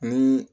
Ni